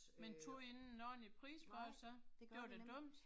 Men tog I ikke en ordentlig pris for det så? Det var da dumt